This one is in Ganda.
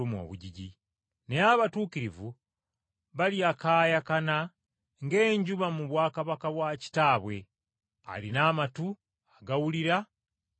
Naye abatuukirivu balyakaayakana ng’enjuba mu bwakabaka bwa Kitaabwe. Alina amatu agawulira, awulire.